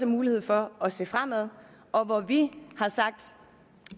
mulighed for at se fremad og hvor vi har sagt